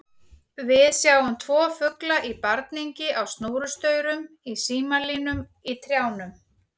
Við sjáum tvo fugla í barningi á snúrustaurum, í símalínum, í trjánum.